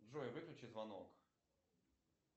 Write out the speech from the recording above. джой выключи звонок